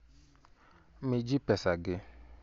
Mi ji pesagi.